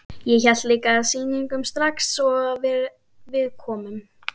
Ég hélt líka sýningu strax og við komum.